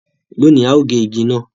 Lónì, a yóò gé igi náà.